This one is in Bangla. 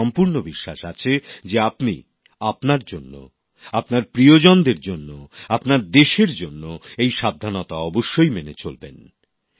আমার সম্পূর্ণ বিশ্বাস আছে যে আপনি আপনার জন্য আপনার প্রিয়জনদের জন্য আপনার দেশের জন্য এই সাবধানতা অবশ্যই মেনে চলবেন